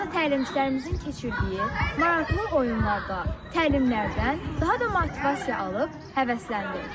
Burada təlimçilərimizin keçirdiyi maraqlı oyunlardan, təlimlərdən daha da motivasiya alıb həvəsləndim.